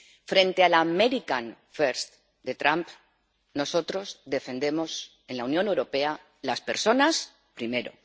Frente al America first de Trump, nosotros defendemos en la Unión Europea Las personas primero.